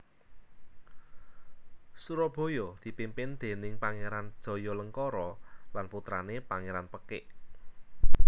Surabaya dipimpin déning Pangéran Jayalengkara lan putrané Pangéran Pekik